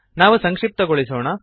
ನಾವು ಸಂಕ್ಷಿಪ್ತಗೊಳಿಸೋಣ